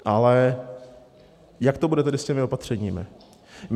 Ale jak to bude tedy s těmi opatřeními?